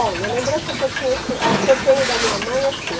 Olha, a lembrança que eu tinha assim, a que eu tenho da minha mãe é assim.